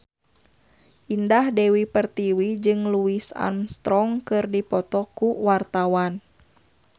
Indah Dewi Pertiwi jeung Louis Armstrong keur dipoto ku wartawan